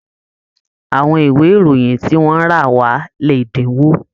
Àwọn ìwé ìròyìn ti wọn rà wa l'ẹdinwo.